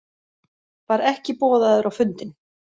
Var ekki boðaður á fundinn